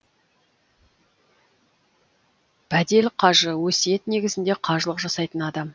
бәдел қажы өсиет негізінде қажылық жасайтын адам